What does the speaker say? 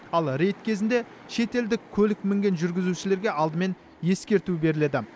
ал рейд кезінде шетелдік көлік мінген жүргізушілерге алдымен ескерту беріледі